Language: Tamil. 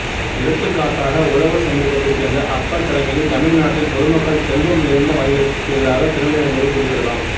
எடுத்துக்காட்டாக உழவர் சமூகத்தைச் சேர்ந்த அப்பர் தலைமையில் தமிழ் நாட்டில் பொதுமக்கள் செல்வம் நிறைந்த வணிகருக்குகெதிராக திரண்டெழுந்ததை குறிப்பிடலாம்